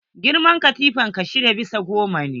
Girman katifan ka shida bisa goma ne?